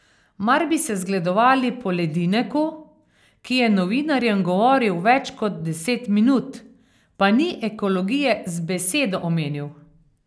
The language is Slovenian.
Mar bi se zgledovali po Ledineku, ki je novinarjem govoril več kot deset minut, pa ni ekologije z besedo omenil.